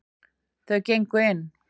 Þau gengu inn.